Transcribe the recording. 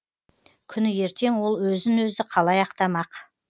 күні ертең ол өзін өзі қалай ақтамақ